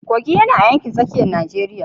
Kogi yana a yankin tsakiyar Najeriya.